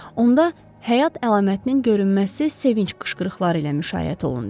Onda həyat əlamətinin görünməsi sevinc qışqırıqları ilə müşayiət olundu.